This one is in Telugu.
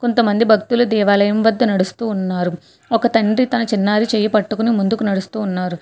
కొంతమంది భక్తుల దేవాలయం వద్ద నడుస్తూ ఉన్నారు ఒక తండ్రి తన చిన్నారి చేయ పట్టుకుని ముందుకు నడుస్తూ ఉన్నారు.